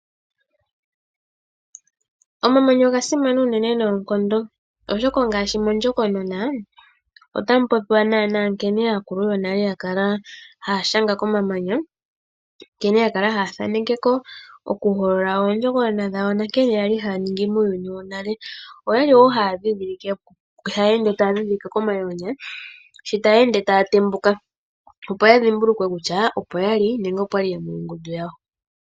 Omamanya oga simana unene noonkondo oshoka ngaashi mondjokonona otamu popiwa naana nkene aakulu yonale ya kala haya shanga komamanya, nkene ya kala haya thaneke ko ,oku hokolola oondjokonona dhawo na nkene yali haya ningi muuyuni wo nale. Oyali woo haa ende taya dhidhilike komamanya, shi taya ende taya tembuka, opo ya dhimbulukwe kutya opo yali nenge opwali aantu yo mongundu yawo.